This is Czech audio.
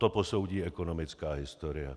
To posoudí ekonomická historie.